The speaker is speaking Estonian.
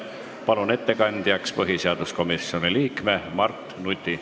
Palun ettekandjaks põhiseaduskomisjoni liikme Mart Nuti.